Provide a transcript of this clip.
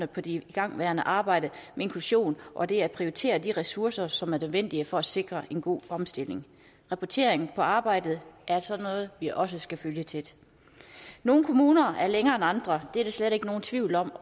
på det igangværende arbejde med inklusion og det at prioritere de ressourcer som er nødvendige for at sikre en god omstilling rapporteringen af arbejdet er noget vi også skal følge tæt nogle kommuner er kommet længere end andre det er der slet ikke nogen tvivl om